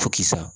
Fo kisa